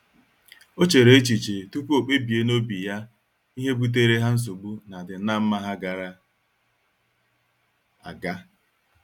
O chere echiche tupu o kpebie n'obi ya ihe butere ha nsogbu n'adim na mma ha gara aga.